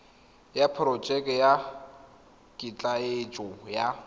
ya porojeke ya ketleetso ya